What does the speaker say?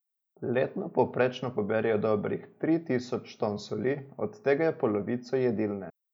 Letno povprečno poberejo dobrih tri tisoč ton soli, od tega je polovico jedilne.